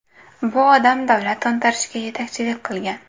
Bu odam davlat to‘ntarishiga yetakchilik qilgan.